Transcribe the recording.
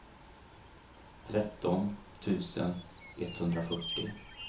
tretton tusen etthundrafyrtio